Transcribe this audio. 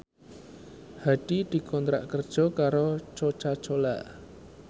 Hadi dikontrak kerja karo Coca Cola